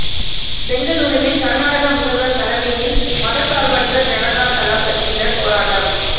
பெங்களூருவில் கர்நாடக முதல்வர் தலைமையில் மதச்சார்பற்ற ஜனதா தளம் கட்சியினர் போராட்டம்